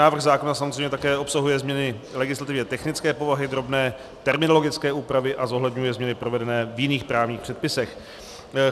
Návrh zákona samozřejmě také obsahuje změny legislativně technické povahy, drobné terminologické úpravy a zohledňuje změny provedené v jiných právních předpisech.